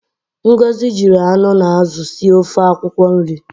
Ngozi jiri anụ na azụ sie ofe akwụkwọ nri.